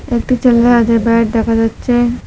একটি ছেলের হাতে ব্যাট দেখা যাচ্ছে।